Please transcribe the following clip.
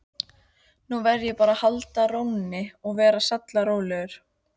Nú verð ég bara að halda rónni, vera sallarólegur.